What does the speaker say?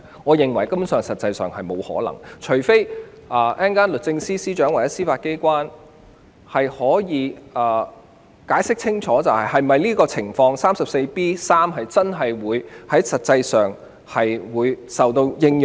我認為這情況根本沒有可能出現，除非律政司司長或司法機構稍後清楚解釋，第 34B3 條的情況實際上真的適用。